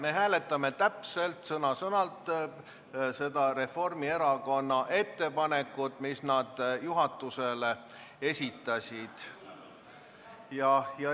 Me hääletame täpselt, sõna-sõnalt seda Reformierakonna ettepanekut, mis nad juhatusele esitasid.